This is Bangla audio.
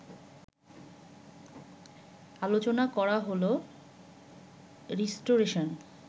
আলোচনা করা হলো- রিস্টোরেশন